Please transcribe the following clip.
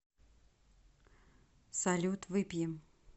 салют выпьем